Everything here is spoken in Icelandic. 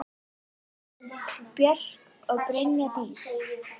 Björk og Brynja Dís.